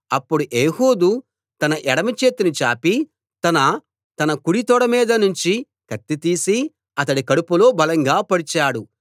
అప్పుడు ఏహూదు తన ఎడమచేతిని చాపి తన కుడి తొడమీదనుంచి కత్తి తీసి అతడి కడుపులో బలంగా పొడిచాడు